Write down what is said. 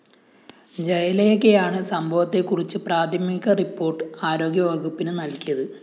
ജയലേഖയാണ് സംഭവത്തെക്കുറിച്ച് പ്രാഥമിക റിപ്പോർട്ട്‌ ആരോഗ്യ വകുപ്പിനു നല്‍കിത്